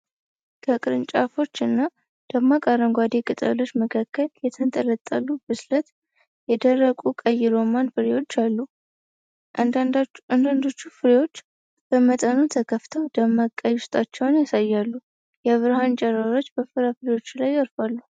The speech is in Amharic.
ከቅርንጫፎች እና ደማቅ አረንጓዴ ቅጠሎች መካከል የተንጠለጠሉ ብስለት የደረሱ ቀይ ሮማን ፍሬዎች አሉ። አንዳንዶቹ ፍሬዎች በመጠኑ ተከፍተው ደማቅ ቀይ ውስጣቸውን ያሳያሉ። የብርሃን ጨረሮች በፍራፍሬዎቹ ላይ ያርፋሉ።